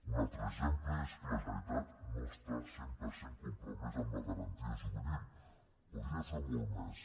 un altre exemple és que la generalitat no està cent per cent compromesa amb la garantia juvenil podria fer molt més